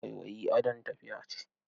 Waiwayi adon tafiya ce.